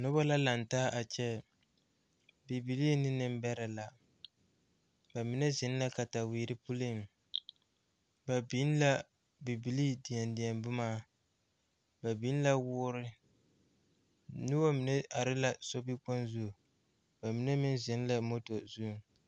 Noba la lantaa a kyɛ bibilee ne nimbɛrɛ la ba mine ziŋ la kataweere puliŋ ba biŋ la bibilee deɛdeɛ boma ba biŋ la wɔɔre noba mine are la sobi kpoŋ zu ba mine meŋ ziŋ la moto ziŋ.